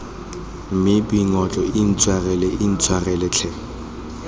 mme boingotlo intshwarele intshwarele tlhe